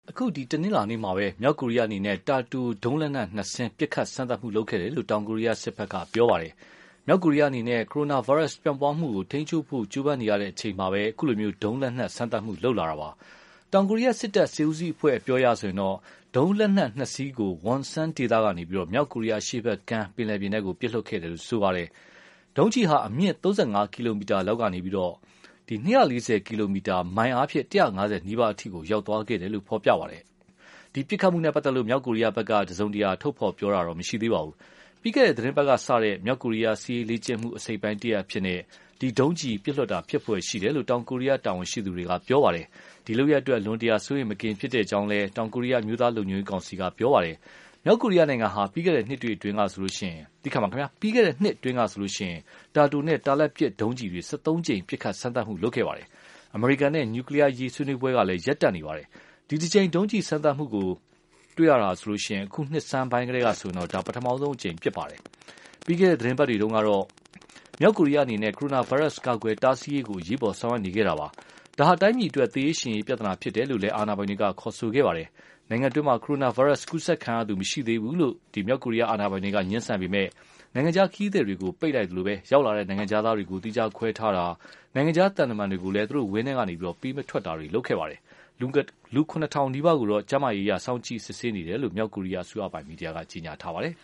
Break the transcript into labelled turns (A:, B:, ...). A: အခု တနင်္လာနေ့မှာပဲ မြောက်ကိုရီးယားအနေနဲ့ တာတိုဒုံးလက်နက်နှစ်စင်း ပစ်ခတ်စမ်းသပ်မှု လုပ်ခဲ့တယ်လို့ တောင်ကိုရီးယားစစ်ဘက်က ပြောပါတယ်။ မြောက်ကိုရီးယားအနေနဲ့ ကိုရိုနာဗိုင်းရပ်ပြန့်ပွားမှုကို ထိန်းချုပ်ဖို့ ကြိုးပမ်းနေရတဲ့အချိန်မှာပဲ အခုလို ဒုံးလက်နက်စမ်းသပ်မှု လုပ်လာတာပါ။ တောင်ကိုရီးယားစစ်တပ် စစ်ဦးစီးအဖွဲ့အပြောအရဆိုရင်တော့ ဒုံးလက်နက်နှစ်စင်းကို Wonsan ဒေသကနေ မြောက်ကိုရီးယားအရှေ့ဘက်ကမ်း ပင်လယ်ပြင်ထဲ ပစ်လွှတ်ခဲ့တယ်လို့ ဆိုပါတယ်။ ဒုံးကျည်ဟာ အမြင့် ၃၅ ကီလိုမီတာလောက်ကနေ ၂၄၀ ကီလိုမီတာ (မိုင် ၁၅၀နီးပါး) အထိ သွားခဲ့တယ်လို့လည်း ဖော်ပြပါတယ်။ ဒီ ပစ်ခတ်မှုနဲ့ ပတ်သက်လို့ မြောက်ကိုရီးယားဘက်ကတော့ တစုံတရာ ပြောဆိုတာ မရှိသေးပါဘူး။ ပြီးခဲ့တဲ့ သီတင်းပတ်ကစတဲ့ မြောက်ကိုရီးယား စစ်ရေးလေ့ကျင့်မှု အစိတ်အပိုင်း တရပ်အဖြစ်နဲ့ ဒီလို ဒုံးကျည်ပစ်လွှတ်တာဖြစ်ဖွယ် ရှိတယ်လို့ တောင်ကိုရီးယား တာဝန်ရှိသူတွေက ပြောပါတယ်။ ဒီလုပ်ရပ်အတွက် အလွန်တရာ စိုးရိမ်မကင်းဖြစ်တဲ့အကြောင်း တောင်ကိုရီးယား အမျိုးသားလုံခြုံရေးကောင်စီက ပြောပါတယ်။ မြောက်ကိုရီးယားနိုင်ငံဟာ ပြီးခဲ့တဲ့နှစ်အတွင်းမျာဆေိုရင် တာတိုနဲ့ တာလတ်ပစ် ဒုံးကျည်တွေ ၁၃ ကြိမ် ပစ်ခတ်စမ်းသပ်မှု လုပ်ခဲ့ပါတယ်။ အမေရိကန်နဲ့ နျူကလီးယားအရေး ဆွေးနွေးပွဲကလည်း ရပ်တန့်နေပါတယ်။ ဒီတကြိမ် ဒုံးကျည်စမ်းသပ်မှုကို တွေ့တာဟာဆိုရင် အခုနှစ်ဆန်းကတည်းကဆိုရင်တော့ ဒါ ပထမဆုံးအကြိမ် ဖြစ်ပါတယ်။ ပြီးခဲ့တဲ့သီတင်းပတ်တွေတုန်းကတော့ မြောက်ကိုရီးယားအနေနဲ့ ကိုရိုနာဗိုင်းရပ်စ်ကာကွယ်တားဆီးရေးကို အရေးပေါ် ဆောင်ရွက်နေခဲ့တာပါ။ ဒါဟာ တိုင်းပြည်အတွက် သေရေးရှင်ရေး ပြဿနာဖြစ်တယ်လို့လည်း အာဏာပိုင်တွေက ခေါ်ဆိုခဲ့ပါတယ်။ နိုင်ငံတွင်းမှာ ကိုရိုနာဗိုင်းရပ်စ်ကူးစက်ခံရသူ မရှိသေးဘူးလို့ ငြင်းဆန်နေပေမဲ့လို့ နိုင်ငံခြားခရီးသည်တွေကို ပိတ်လိုက်သလို ရောက်လာတဲ့ နိုင်ငံခြားသားတွေကို သီးခြားခွဲထားတာ နိုင်ငံခြားသံတမန်တွေကိုလည်း သူတို့ ဝန်းထဲကနေ ပေးမထွက်တာတွေ လုပ်ခဲ့ပါတယ်။ လူ ၇,၀၀၀ နီးပါးကိုတော့ ကျန်းမာရေးအရ စောင့်ကြည့်နေတယ်လို့ မြောက်ကိုရီးယားအစိုးရပိုင် မီဒီယာက ဖော်ပြပါတယ်။